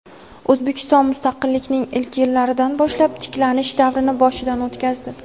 O‘zbekiston mustaqillikning ilk yillaridan boshlab tiklanish davrini boshidan o‘tkazdi.